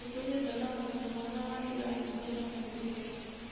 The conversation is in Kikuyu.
Nĩtũgĩte na ũmenyo mwega wa njĩra nyingĩ na moimĩrĩra.